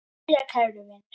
Jæja, kæru vinir.